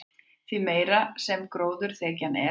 því meiri sem gróðurþekjan er